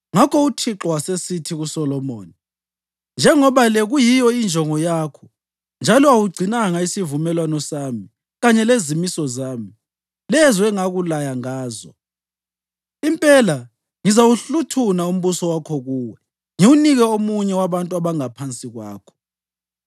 Ngakho uThixo wasesithi kuSolomoni. “Njengoba le kuyiyo injongo yakho njalo awugcinanga isivumelwano sami kanye lezimiso zami, lezo engakulaya ngazo, impela ngizawuhluthuna umbuso wakho kuwe ngiwunike omunye wabantu abangaphansi kwakho.